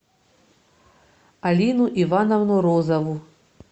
алину ивановну розову